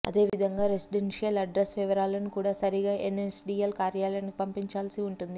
అదేవిధంగా residential address వివరాలను కూడా సరిగా ఎన్ఎస్డీఎల్ కార్యాలయానికి పంపించావలసి ఉంటుంది